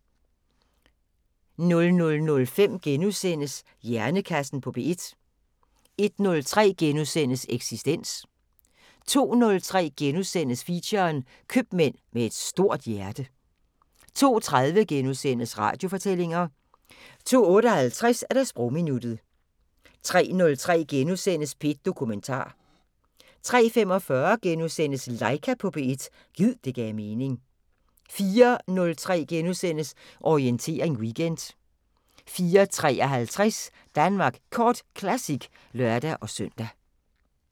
00:05: Hjernekassen på P1 * 01:03: Eksistens * 02:03: Feature: Købmand med et stort hjerte * 02:30: Radiofortællinger * 02:58: Sprogminuttet 03:03: P1 Dokumentar * 03:45: Laika på P1 – gid det gav mening * 04:03: Orientering Weekend * 04:53: Danmark Kort Classic (lør-søn)